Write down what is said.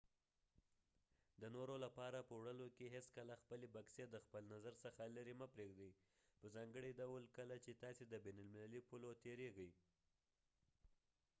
د نورو لپاره په وړلو کې هیڅکله خپلې بکسې د خپل نظر څخه لیرې مه پریږدۍ په ځانګړي ډول کله چې تاسې د بین المللي پولو تیریږئ